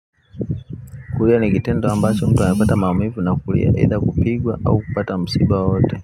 Kulia nikitendo ambacho mtu anapata maumuvu na kukia either kupigwa au kupata msiba wowoote.